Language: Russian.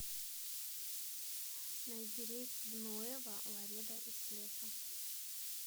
найди рейс в нуэво ларедо из плеса